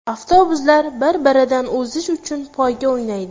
Avtobuslar bir-biridan o‘zish uchun poyga o‘ynaydi.